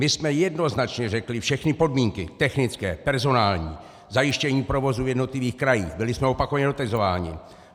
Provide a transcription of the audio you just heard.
My jsme jednoznačně řekli všechny podmínky technické, personální, zajištění provozu v jednotlivých krajích, byli jsme opakovaně dotazováni.